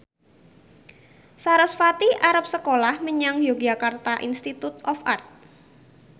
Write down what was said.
sarasvati arep sekolah menyang Yogyakarta Institute of Art